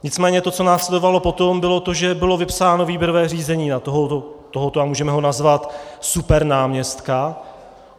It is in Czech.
Nicméně to, co následovalo potom, bylo to, že bylo vypsáno výběrové řízení na tohoto - a můžeme ho nazvat - supernáměstka.